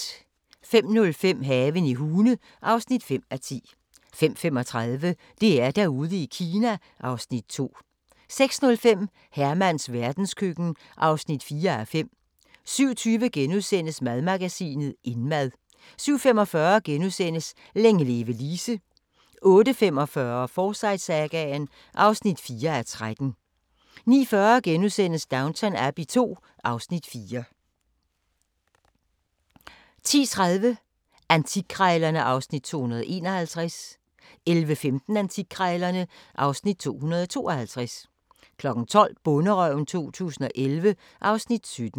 05:05: Haven i Hune (5:10) 05:35: DR-Derude i Kina (Afs. 2) 06:05: Hermans verdenskøkken (4:5) 07:20: Madmagasinet – Indmad * 07:45: Længe leve Lise * 08:45: Forsyte-sagaen (4:13) 09:40: Downton Abbey II (Afs. 4)* 10:30: Antikkrejlerne (Afs. 251) 11:15: Antikkrejlerne (Afs. 252) 12:00: Bonderøven 2011 (Afs. 17)